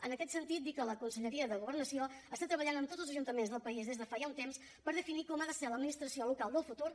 en aquest sentit dir que la conselleria de governació treballa amb tots els ajuntaments del país des de fa ja un temps per definir com ha de ser l’administració local del futur